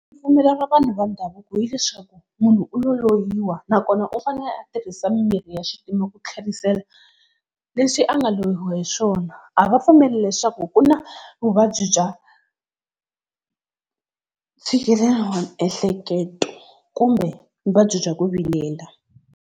Ripfumelo ra vanhu va ndhavuko hileswaku munhu u lo loyiwa nakona u fanele a tirhisa mimirhi ya xintima ku tlherisela leswi a nga loyiwa hi swona. A va pfumeli leswaku ku na vuvabyi bya ntshikelelo wa miehleketo kumbe vuvabyi bya ku vilela.